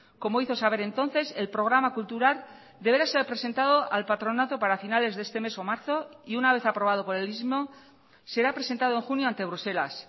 como hizo saber entonces el programa cultural deberá ser presentado al patronato para finales de este mes o marzo y una vez aprobado por el mismo será presentado en junio ante bruselas